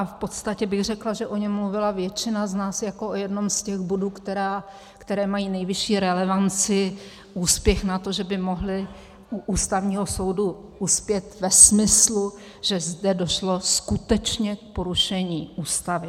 A v podstatě bych řekla, že o něm mluvila většina z nás jako o jednom z těch bodů, které mají nejvyšší relevanci, úspěch na to, že by mohly u Ústavního soudu uspět ve smyslu, že zde došlo skutečně k porušení Ústavy.